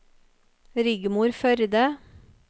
Rigmor Førde